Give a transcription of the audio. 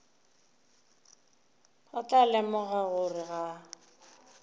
ba tla lemoga gore ga